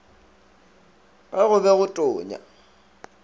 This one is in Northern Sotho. ge go be go tonya